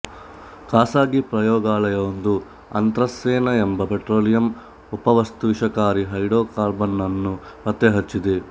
ಖಾಸಗಿ ಪ್ರಯೋಗಾಲಯವೊಂದು ಅಂತ್ರಾಸೆನಾ ಎಂಬ ಪೆಟ್ರೊಲಿಯಮ್ ಉಪವಸ್ತುವಿಷಕಾರಿ ಹೈಡ್ರೊಕಾರ್ಬನ್ ನನ್ನು ಪತ್ತೆ ಹಚ್ಚಿದೆ